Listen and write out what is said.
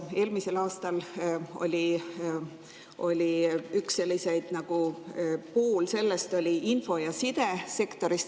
Eelmisel aastal oli üks nendest info- ja sidesektor.